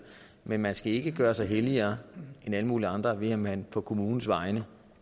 men man skal ikke gøre sig helligere end alle mulige andre ved at man på kommunens vegne